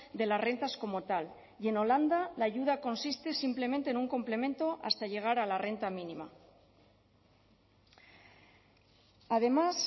de las rentas como tal y en holanda la ayuda consiste simplemente en un complemento hasta llegar a la renta mínima además